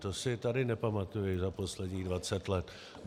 To si tady nepamatuji za posledních 20 let.